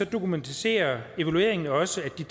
dokumenterer evalueringen også